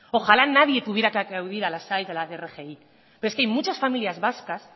ojalá nadie tuviera que acudir a las aes y a las rgis pero hay muchas familias vascas